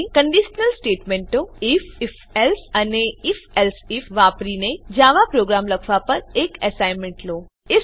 હવે કંડીશનલ સ્ટેટમેંટો if if else અને ifએલ્સે આઇએફ વાપરીને જાવા પ્રોગ્રામ લખવા પર એક એસાઇનમેંટ લો